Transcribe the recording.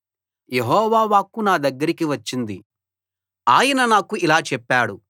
యెహోవా వాక్కు నా దగ్గరకి వచ్చింది ఆయన నాకు ఇలా చెప్పాడు